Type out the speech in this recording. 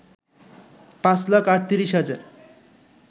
পাঁচ লাখ ৩৮ হাজার